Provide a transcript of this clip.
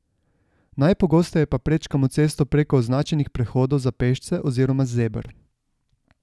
Najpogosteje pa prečkamo cesto preko označenih prehodov za pešce oziroma zeber.